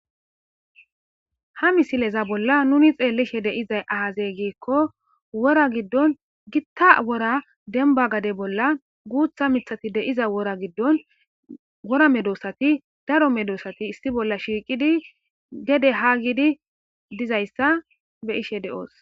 Ha misileza bolla nuni xeellishe dizay aaze giikko wora giddon gitta wora demba gade bolla guutha mithati diza wora giddon wora medoosati daro medoosati issi bolla shiiqidi gede haa gidi diza issa be'ashe de'oos.